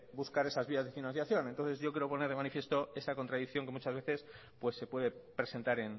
buscar esas vías de financiación entonces yo quiero poner de manifiesto esa contradicción que muchas veces pues se puede presentar